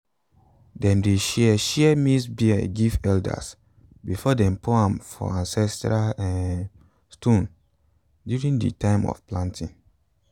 dem dey share share maize beer give elders before dem pour am for ancestral um stones during di time of planting um